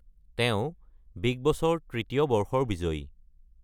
তেওঁ বিগ বছৰ তৃতীয় বৰ্ষৰ বিজয়ী।